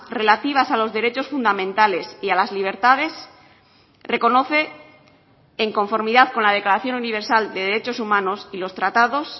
relativas a los derechos fundamentales y a las libertades reconoce en conformidad con la declaración universal de derechos humanos y los tratados